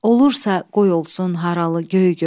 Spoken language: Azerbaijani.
Olursa qoy olsun haralı göy gül.